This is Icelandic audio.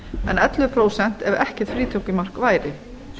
en ellefu prósent ef ekkert frítekjumark væri